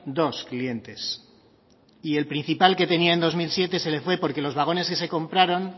dos clientes y el principal que tenía en dos mil siete se le fue porque los vagones que se compraron